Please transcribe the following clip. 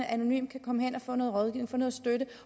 anonymt kan komme hen og få noget rådgivning få noget støtte